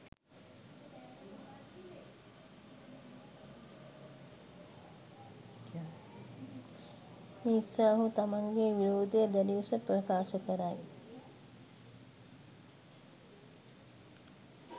මෙනිසා ඔහු තමන්ගේ විරෝධය දැඩිලෙස ප්‍රකාශ කරයි.